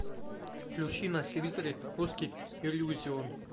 включи на телевизоре русский иллюзион